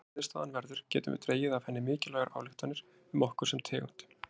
Sama hver niðurstaðan verður getum við dregið af henni mikilvægar ályktanir um okkur sem tegund.